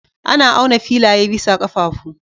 Ana auna filaye bisa ƙafafu.